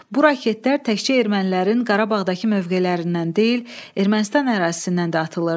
Bu raketlər təkcə ermənilərin Qarabağdakı mövqelərindən deyil, Ermənistan ərazisindən də atılırdı.